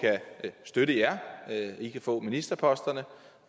kan støtte jer i kan få ministerposterne